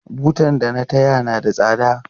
Butar da na taya na da tsada.